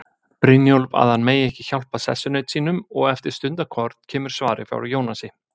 Brynjólf að hann megi ekki hjálpa sessunaut sínum, og eftir stundarkorn kemur svarið frá Jónasi